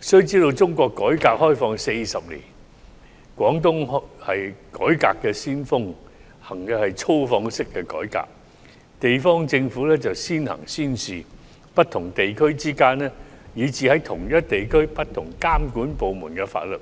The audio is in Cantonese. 須知道中國改革開放40年，廣東省是改革先鋒，實行的是"粗放式"改革，地方政府"先行先試"，不同地區之間以至同一地區內不同監管部門的法律